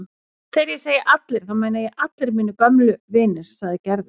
Þegar ég segi allir þá meina ég allir mínir gömlu vinir sagði Gerður.